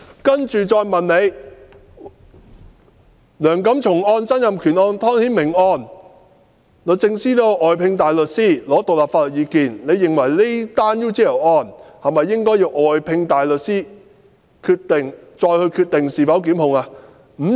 接着再問的是："梁錦松案、曾蔭權案、湯顯明案，律政司均曾外聘大律師，索取獨立意見，認為這宗 UGL 案應否外聘大律師，再決定是否檢控呢？